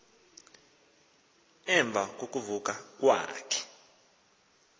emva kokuvuka kwakhe